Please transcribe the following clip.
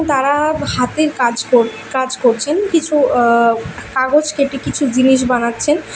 তারা হাতের কাজ কর কাজ করছেন কিছু আঃ কাগজ কেঁটে কিছু জিনিস বানাচ্ছেন।